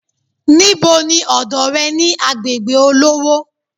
Níbo ni ọ̀dọ̀ re ni agbègbè olówó